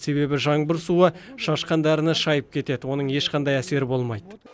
себебі жаңбыр суы шашқан дәріні шайып кетеді оның ешқандай әсері болмайды